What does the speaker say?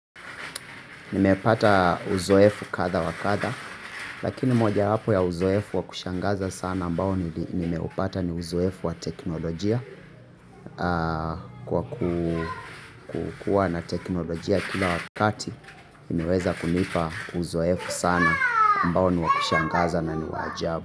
Nimepata uzoefu kadha wa kadha, lakini moja wapo ya uzoefu wa kushangaza sana ambao nimeupata ni uzoefu wa teknolojia kwa kukua na teknolojia kila wakati, nimeweza kunipa uzoefu sana ambao ni wakushangaza na ni wajabu.